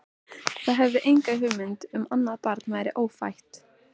Þau höfðu ekki hugmynd um að annað barn væri ófætt.